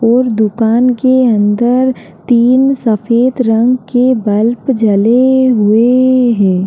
और दुकान के अंदर तीन सफेद रंग के बल्ब जले हुए हैं।